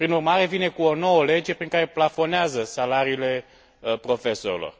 Prin urmare, vine cu o nouă lege, prin care plafonează salariile profesorilor.